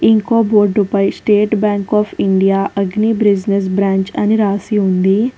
ఇంకో బోర్డుపై State Bank of India agri business branch అని రాసి ఉంది.